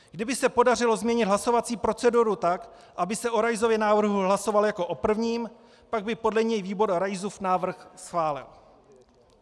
Kdyby se podařilo změnit hlasovací proceduru tak, aby se o Raisově návrhu hlasovalo jako o prvním, pak by podle něj výbor Raisův návrh schválil.